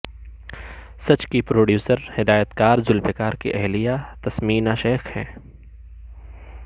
سچ کی پروڈیوسر ہدایتکار ذولفقار کی اہلیہ تسمینہ شیخ ہیں